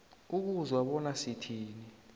ukuzwa bona sithini